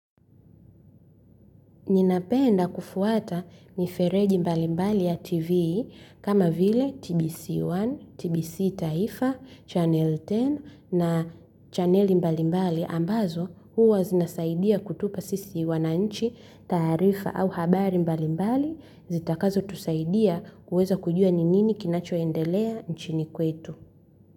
Ninapenda kufuata mifereji mbali mbali ya TV. Kama vile TBC1, TBC taifa, Chanell kumi na chaneli mbali mbali ambazo huwa zinasaidia kutupa sisi wanainchi taarifa au habari mbali mbali, zitakazotusaidia kuweza kujua nini kinachoendelea nchini kwetu.